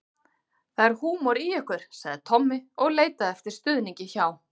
Það er húmor í ykkur sagði Tommi og leitaði eftir stuðningi hjá